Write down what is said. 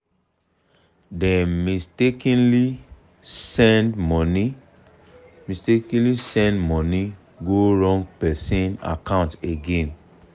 dem mistakenly send money mistakenly send money go wrong person account again.